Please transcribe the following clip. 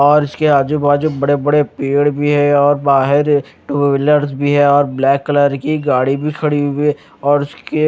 और उसके आजू बाजू बड़े बड़े पेड़ भी है और बाहर टू व्हीलर भी है और ब्लैक कलर की गाड़ी भी खड़ी हुई और उसके--